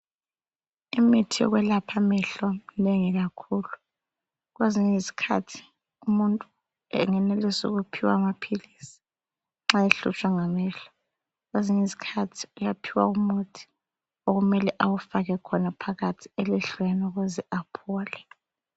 Imithi yokwelapha amehlo minengi kakhulu .Kwezinye izikhathi umuntu engenelisa ukuphiwa amaphilisi nxa ehlutshwa ngamehlo. Kwezinye izikhathi uyaphiwa umuthi okumelele ewufake khona phakathi ukuze aphole.